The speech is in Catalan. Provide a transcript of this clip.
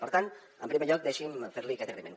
per tant en primer lloc deixi’m ferli aquest agraïment